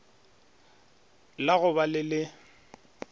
la go ba le le